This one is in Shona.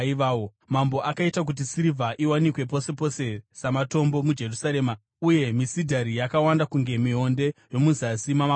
Mambo akaita kuti sirivha iwanikwe pose pose samatombo muJerusarema uye misidhari yakawanda kunge mionde yomuzasi mamakomo.